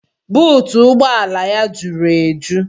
Buutu ụgbọ ala ya jụrụ eju